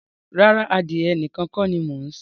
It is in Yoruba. Rárá, adìyẹ nìkan kọ́ ni mo ń sìn.